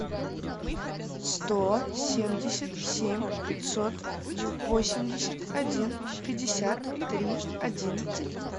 сто семьдесят семь пятьсот восемьдесят один пятьдесят три одиннадцать